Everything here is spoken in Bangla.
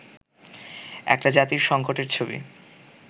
একটা জাতির সংকটের ছবি